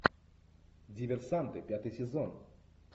диверсанты пятый сезон